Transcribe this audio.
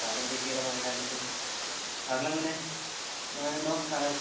കാലം തെറ്റിയുള്ള മഴ ആയതുകൊണ്ട് . അവിടെയെല്ലാം എങ്ങനെ അവിടെ മഴയുണ്ടോ